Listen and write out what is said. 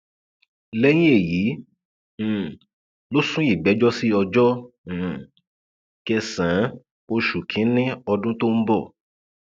lẹyìn èyí um ló sún ìgbẹjọ sí ọjọ um kẹsànán oṣù kínínní ọdún tó ń bọ